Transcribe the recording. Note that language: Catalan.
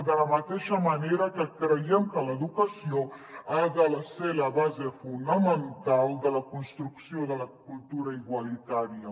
de la mateixa manera que creiem que l’educació ha de ser la base fonamental de la construcció de la cultura igualitària